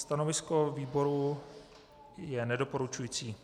Stanovisko výboru je nedoporučující.